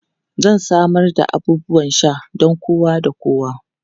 Zan samar da abubuwan sha don kowa da kowa.